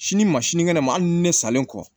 Sini ma sini kɛnɛ ma hali ni ne salen kɔ